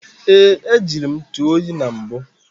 Ee, ejire m ntụ oyi na mbụ